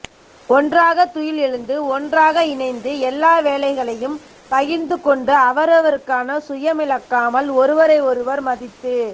ஒன்றாக துயில் எழுந்து ஒன்றாக இணைந்து எல்லா வேலைகளையும் பகிர்ந்து கொண்டு அவரவருக்கான சுயமிழக்காமல் ஒருவரை ஒருவர் மதித்து